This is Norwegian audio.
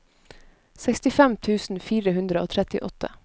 sekstifem tusen fire hundre og trettiåtte